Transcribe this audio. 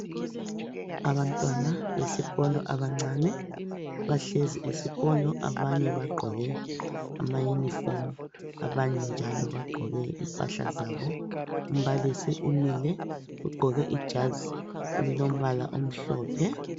Abantwana besikolo abancane bahlezi esikolo abanye bagqoke amauniform abanye njalo bagqoke impahla zabo, umbalisi umile ugqoke ijazi elilombala omhlophe.